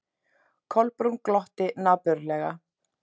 Kolbrún glotti napurlega.